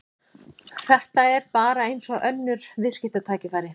Þetta er bara eins og önnur viðskiptatækifæri.